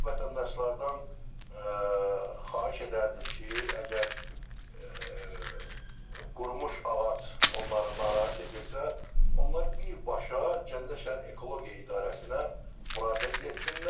Vətəndaşlardan xahiş edərdim ki, əgər qurumuş ağac onları narahat edirsə, onlar birbaşa Gəncə şəhər Ekologiya idarəsinə müraciət etsinlər.